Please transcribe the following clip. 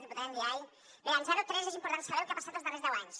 diputada ndiaye bé en zero tres és important saber el que ha passat els darrers deu anys